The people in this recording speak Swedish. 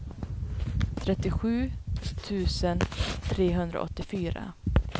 trettiosju tusen trehundraåttiofyra